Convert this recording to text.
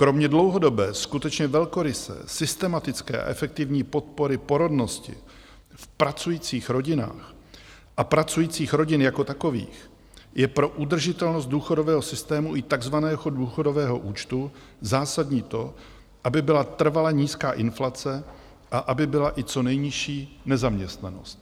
Kromě dlouhodobé, skutečně velkoryse systematické a efektivní podpory porodnosti v pracujících rodinách a pracujících rodin jako takových je pro udržitelnost důchodového systému i takzvaného důchodového účtu zásadní to, aby byla trvale nízká inflace a aby byla i co nejnižší nezaměstnanost.